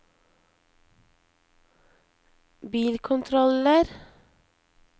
bilkontroller